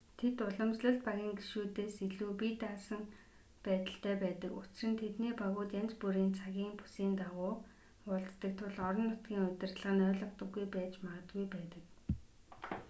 тэд уламжлалт багийн гишүүдээс илүү бие даасан байдалтай байдаг учир нь тэдний багууд янз бүрийн цагийн бүсийн дагуу уулздаг тул орон нутгийн удирдлага нь ойлгодоггүй байж магадгүй байдаг